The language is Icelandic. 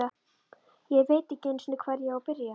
Ég veit ekki einu sinni, hvar ég á að byrja.